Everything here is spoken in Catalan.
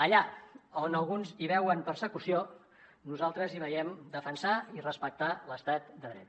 allà on alguns hi veuen persecució nosaltres hi veiem defensar i respectar l’estat de dret